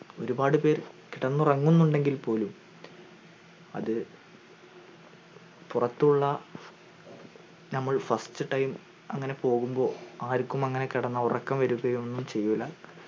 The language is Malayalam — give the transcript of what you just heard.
ഒരുപ്പാട് പേർ കിടന്നുറങ്ങുന്നെണ്ടങ്കിൽ പോലും അത പുറത്തുള് നമ്മൾ first time അങ്ങനെ പോവുമ്പോൾ ആർക്കും അങ്ങനെ കിടന്ന ഉറക്കം വരുകയൊന്നും ചെയ്യൂല